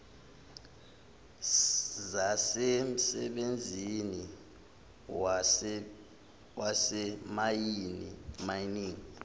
zasemsebenzini wasezimayini mining